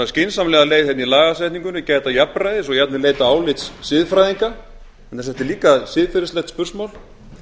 skynsamlega leið í lagasetningunni gæta jafnræðis og jafnvel leita álits siðfræðinga þannig að þetta er líka siðferðislegt spursmál